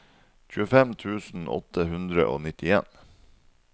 tjuefem tusen åtte hundre og nittien